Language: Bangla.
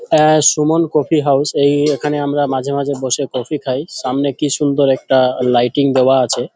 আ সুমন কফি হাউস এই এখানে আমরা মাঝে মাঝে বসে কফি খাই। সামনে কি সুন্দর একটা লাইটিং দেওয়া আছে।